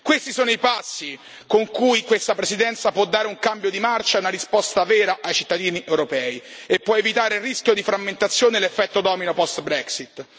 Questi sono i passi con cui questa Presidenza può dare un cambio di marcia, una risposta vera ai cittadini europei e può evitare il rischio di frammentazione e l'effetto domino post Brexit